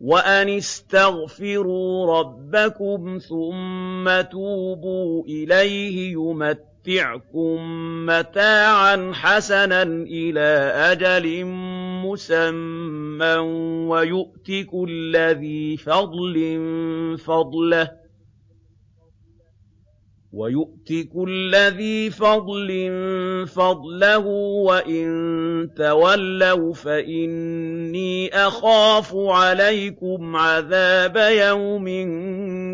وَأَنِ اسْتَغْفِرُوا رَبَّكُمْ ثُمَّ تُوبُوا إِلَيْهِ يُمَتِّعْكُم مَّتَاعًا حَسَنًا إِلَىٰ أَجَلٍ مُّسَمًّى وَيُؤْتِ كُلَّ ذِي فَضْلٍ فَضْلَهُ ۖ وَإِن تَوَلَّوْا فَإِنِّي أَخَافُ عَلَيْكُمْ عَذَابَ يَوْمٍ